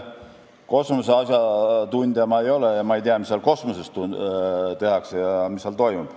Kosmose asjatundja ma ei ole ega tea, mis kosmoses tehakse ja mis seal toimub.